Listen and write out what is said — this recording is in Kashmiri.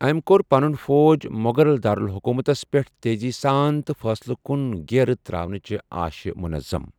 أمہِ كو٘ر پنٗن فوج ، مو٘غل داراٗلحكوُمتس پیٹھ تیزی سان تہٕ فٕصلہٕ كٗن گھیرٕ تراونہٕ چہِ آشہِ، مٗنظم ۔